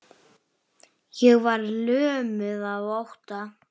Ég var lömuð af ótta.